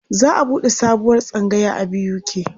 Za a buɗe sabuwar tsangaya a BUK.